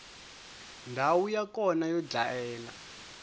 ndhawu ya kona yo dlayela